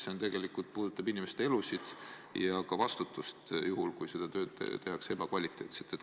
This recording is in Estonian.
See tegelikult puudutab inimeste elusid ja ka vastutust juhul, kui seda tööd tehakse ebakvaliteetselt.